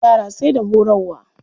Yara sai da horarwa.